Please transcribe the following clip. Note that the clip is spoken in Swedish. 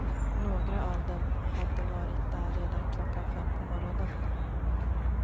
Några av dem hade varit där redan klockan fem på morgonen.